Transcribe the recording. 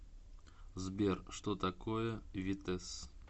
сбер что такое витесс